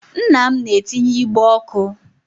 Nna m na-etinye igbe ọkụ.